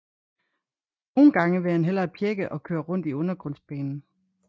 Nogen gange ville han hellere pjække og køre rundt i undergrundsbanen